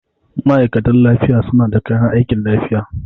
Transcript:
Ma'aikatan lafiya suna da kayan aikin lafiya.